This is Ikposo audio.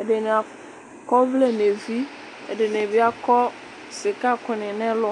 ɛdini akɔ ɔvlɛ n'evi ɛdini bi akɔ sika kò ni n'ɛlu.